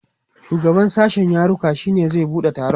shugaban sashen yaruka shine zai buɗe taron